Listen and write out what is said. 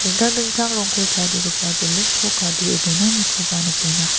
dingtang dingtang rongko tarigipa belun ko kadee donanikoba nikenga.